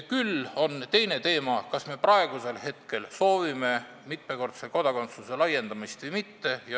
Küll on teine teema see, kas me praegu soovime mitmekordse kodakondsuse laiendamist või mitte.